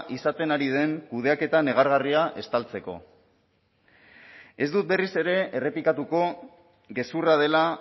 izaten ari den kudeaketa negargarria estaltzeko ez dut berriz ere errepikatuko gezurra dela